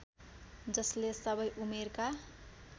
जसले सबै उमेरका